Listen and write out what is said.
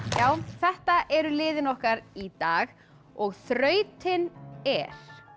þetta eru liðin okkar í dag og þrautin er